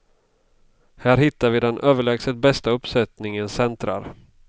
Här hittar vi den överlägset bästa uppsättningen centrar.